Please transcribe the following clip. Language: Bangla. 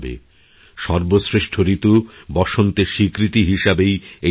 সর্বশ্রেষ্ঠ ঋতু বসন্তের স্বীকৃতি হিসেবেই এই উৎসব